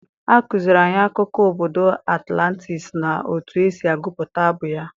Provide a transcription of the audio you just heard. A kụziiri anyị akụkọ obodo Atlantis na otu esi agụpụta abụ ya.